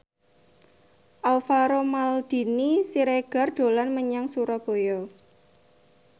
Alvaro Maldini Siregar dolan menyang Surabaya